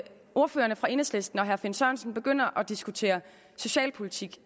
ordføreren fra enhedslisten og herre finn sørensen begynder at diskutere socialpolitik